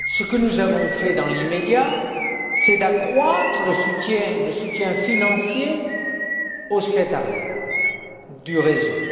Ce que nous avons fait dans l'immédiat, c'est accroître le soutien financier au secrétariat du réseau.